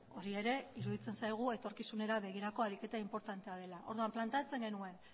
hori ere iruditzen zaigu etorkizunera begirako ariketa inportantea dela orduan planteatzen genuen